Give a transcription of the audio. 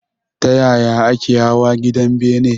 Ta yaya ake hawa gidan bene?